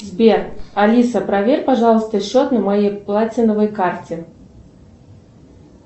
сбер алиса проверь пожалуйста счет на моей платиновой карте